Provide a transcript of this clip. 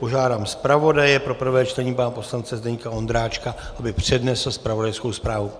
Požádám zpravodaje pro prvé čtení pana poslance Zdeňka Ondráčka, aby přednesl zpravodajskou zprávu.